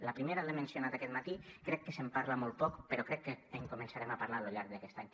la primera l’he mencionat aquest matí crec que se’n parla molt poc però crec que en començarem a parlar a lo llarg d’aquest any